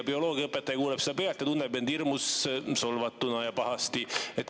Bioloogiaõpetaja kuuleb seda pealt ja tunneb end hirmus solvatuna ja pahasti.